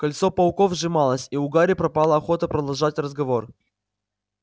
кольцо пауков сжималось и у гарри пропала охота продолжать разговор